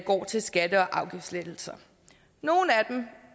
går til skatte og afgiftslettelser nogle af dem